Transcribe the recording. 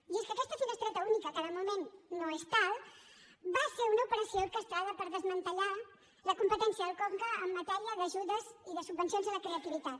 i és que aquesta finestreta única que de moment no és tal va ser una operació orquestrada per desmantellar la competència del conca en matèria d’ajudes i de subvencions a la creativitat